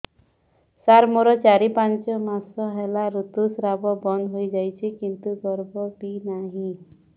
ସାର ମୋର ଚାରି ପାଞ୍ଚ ମାସ ହେଲା ଋତୁସ୍ରାବ ବନ୍ଦ ହେଇଯାଇଛି କିନ୍ତୁ ଗର୍ଭ ବି ନାହିଁ